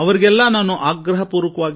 ಆದರೆ ಎಲ್ಲರ ಅಂತಿಮ ಗುರಿ ಒಂದೇ